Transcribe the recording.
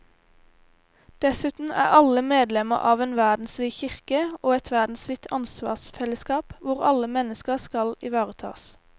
Dessuten er alle medlemmer av en verdensvid kirke og et verdensvidt ansvarsfellesskap hvor alle mennesker skal ivaretas.